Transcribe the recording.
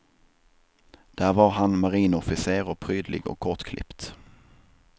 Där var han marinofficer och prydlig och kortklippt.